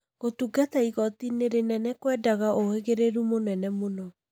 Gũtungata igoti-inĩ rĩnene kwendaga ũhĩgĩrĩru mũnene mũno